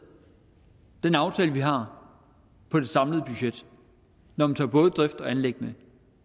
den aftale vi har på det samlede budget når man tager både drift og anlæg med